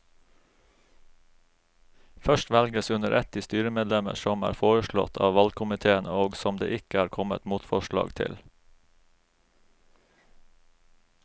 Først velges under ett de styremedlemmer som er foreslått av valgkomiteen og som det ikke er kommet motforslag til.